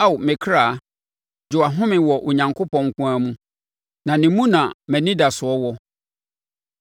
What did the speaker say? Ao me kra, gye wʼahome wɔ Onyankopɔn nko ara mu; na ne mu na mʼanidasoɔ wɔ.